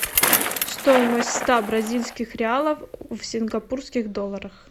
стоимость ста бразильских реалов в сингапурских долларах